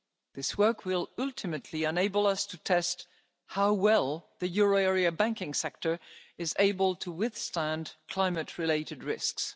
economy. This work will ultimately enable us to test how well the euro area banking sector is able to withstand climate related